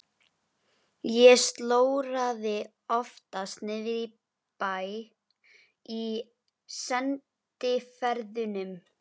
Ég slóraði oftast niðri í bæ í sendiferðunum.